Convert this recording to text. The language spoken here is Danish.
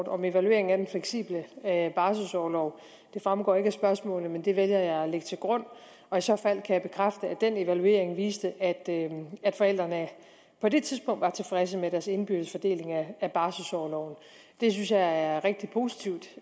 om evaluering af den fleksible barselorlov det fremgår ikke af spørgsmålet men det vælger jeg at lægge til grund og i så fald kan jeg bekræfte at den evaluering viste at forældrene på det tidspunkt var tilfredse med deres indbyrdes fordeling af barselorloven det synes jeg er rigtig positivt